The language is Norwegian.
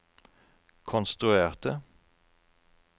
konstruerte